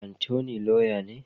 Attorney Lauya ne.